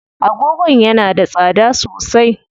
Agogon yana da tsada sosai.